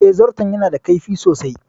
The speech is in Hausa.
Eh, zarton ya na da kaifi sosai